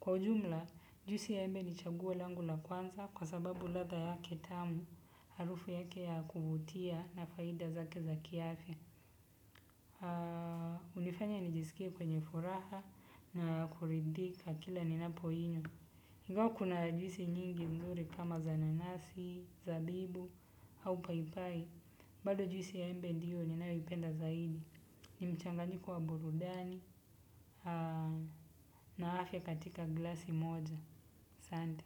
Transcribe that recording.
Kwa ujumla, juisi ya embe ni chaguo langu la kwanza kwa sababu ladha yake tamu, harufu yake ya kuvutia na faida zake za kiafya. Hunifanya nijisikie kwenye furaha na kuridhika kila ninapoinywa. Ingawa kuna juisi nyingi nzuri kama za nanasi, zabibu au paipai, bado juisi ya embe ndiyo ninayoipenda zaidi. Ni mchanganyiko wa burudani na afya katika glasi moja asante.